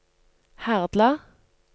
Herdla